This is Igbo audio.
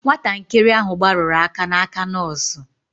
Nwatakịrị ahụ gbarụrụ aka n'aka nọọsụ.